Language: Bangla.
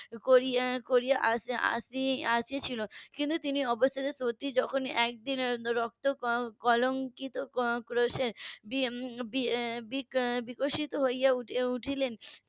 করে এসেছিলো কিন্তু তিনি অবশ্যই সত্যি যখন একদিনের রক্ত কলঙ্কিত করে বিক~ বিকশিত হয়ে উঠলেন